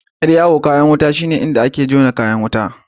Yar'yawu kayan wuta shine inda ake jona kayan jan wuta.